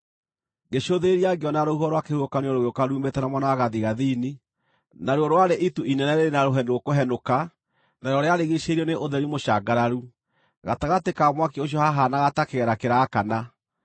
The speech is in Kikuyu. Ngĩcũthĩrĩria ngĩona rũhuho rwa kĩhuhũkanio rũgĩũka ruumĩte na mwena wa gathigathini, naruo rwarĩ itu inene rĩrĩ na rũheni rũkũhenũka narĩo rĩarigiicĩirio nĩ ũtheri mũcangararu. Gatagatĩ ka mwaki ũcio haahaanaga ta kĩgera kĩraakana,